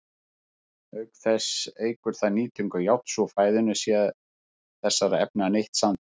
Auk þess eykur það nýtingu járns úr fæðunni sé þessara efna neytt samtímis.